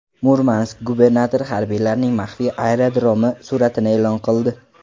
Murmansk gubernatori harbiylarning maxfiy aerodromi suratini e’lon qildi.